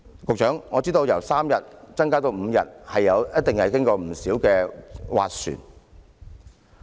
局長，我知道由3天增至5天，一定經過不少斡旋。